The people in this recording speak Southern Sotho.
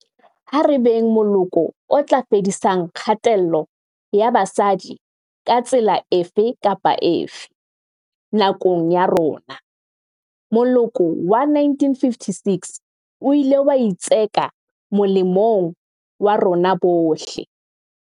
Ha re beng moloko o tla fedisang kgatello ya basadi ka tsela efe kapa efe, nakong ya rona. Moloko wa 1956 o ile wa itseka molemong wa rona bohle.